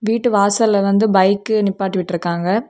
வீட்டு வாசல்ல வந்து பைக் நிப்பாட்டி விட்டுருக்காங்க.